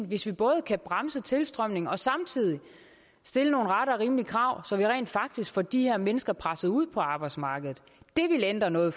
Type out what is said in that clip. hvis vi både kan bremse tilstrømningen og samtidig stille rette og rimelige krav så vi rent faktisk får de her mennesker presset ud på arbejdsmarkedet det ville ændre noget